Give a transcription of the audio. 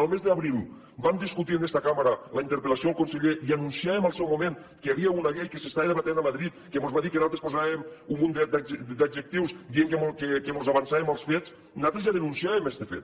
el mes d’abril vam discutir en esta cambra la interpel·lació al conseller i anunciàvem al seu moment que hi havia una llei que s’estava debatent a madrid que mos va dir que nosaltres posàvem un munt d’adjectius dient que mos avançàvem als fets nosaltres ja denunciàvem este fet